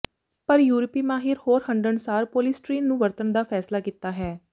ਪਰ ਯੂਰਪੀ ਮਾਹਿਰ ਹੋਰ ਹੰਢਣਸਾਰ ਪੋਲੀਸਟੀਰੀਨ ਨੂੰ ਵਰਤਣ ਦਾ ਫੈਸਲਾ ਕੀਤਾ ਹੈ